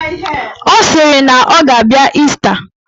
Ọ sịrị na ọ ga-abịa Ịsta.